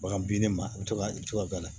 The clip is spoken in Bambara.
Bagan binni ma i bɛ to ka i bɛ to ka a la